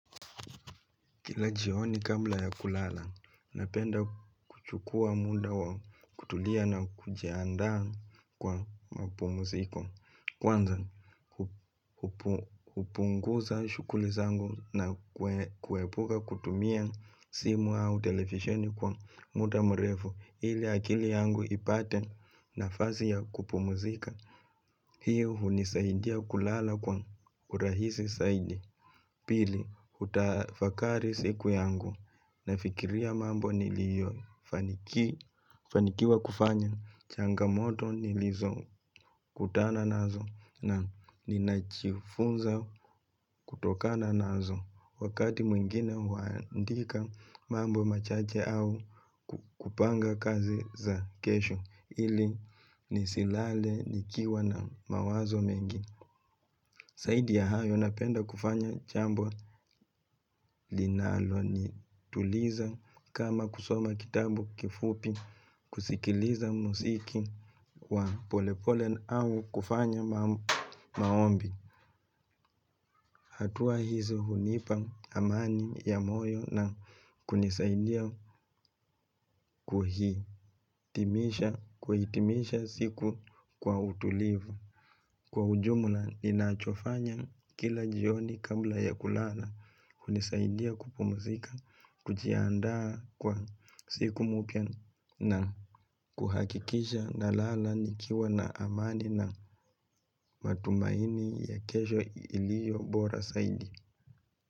Kila jioni kabla ya kulala, napenda kuchukua muda wa kutulia na kujiandaa kwa mapumziko. Kwanza, hupunguza shughuli zangu na kuepuka kutumia simu au televisheni kwa muda mrefu. Ili akili yangu ipate nafasi ya kupumzika. Hii hunisaidia kulala kwa urahisi zaidi. Pili, hutafakari siku yangu, nafikiria mambo niliyofaniki fanikiwa kufanya changamoto nilizokutana nazo na ninajifunza kutokana nazo, wakati mwingine huandika mambo machache au kupanga kazi za kesho ili nisilale nikiwa na mawazo mengi. Zaidi ya hayo napenda kufanya jambo linalonituliza kama kusoma kitabu kifupi kusikiliza muziki wa polepole au kufanya maombi. Hatua hizi hunipa amani ya moyo na kunisaidia kuhi. Timisha, kuhitimisha siku kwa utulivu. Kwa ujumla ninachofanya kila jioni kabla ya kulala. Hunisaidia kupumzika, kujiandaa kwa siku mpya na kuhakikisha nalala nikiwa na amani na matumaini ya kesho iliyobora zaidi.